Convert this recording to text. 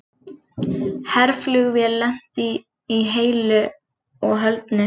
Herflugvél lenti heilu og höldnu